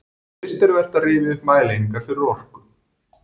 Fyrst er vert að rifja upp mælieiningar fyrir orku.